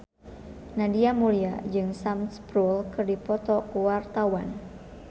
Nadia Mulya jeung Sam Spruell keur dipoto ku wartawan